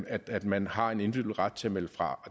at at man har en individuel ret til at melde fra